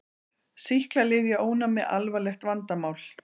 Sýklalyfjaónæmi alvarlegt vandamál